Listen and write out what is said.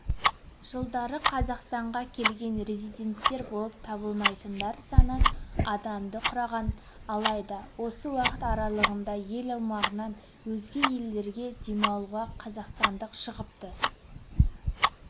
жылдары қазақстанға келген резиденттер болып табылмайтындар саны адамды құраған алайда осы уақыт аралығында ел аумағынан өзге елдерде демалуға қазақстандық шығыпты